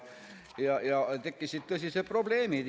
Tekkisid tõsised probleemid.